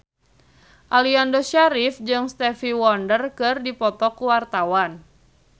Aliando Syarif jeung Stevie Wonder keur dipoto ku wartawan